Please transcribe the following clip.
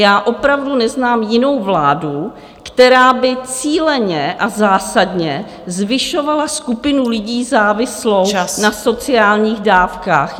Já opravdu neznám jinou vládu, která by cíleně a zásadně zvyšovala skupinu lidí závislou na sociálních dávkách.